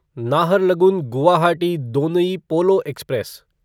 Naharlagun Guwahati Donyi Polo express